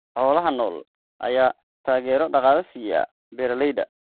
Xoolaha nool ayaa taageero dhaqaale siiya beeralayda.